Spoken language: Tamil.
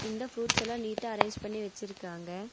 இந்த ஃப்ரூட்ஸ் எல்லா நீட்டா அரேஞ்ச் பண்ணி வச்சிருக்காங்க.